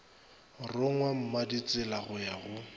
rongwa mmaditsela go ya go